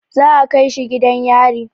Za a kai shi gidan yari.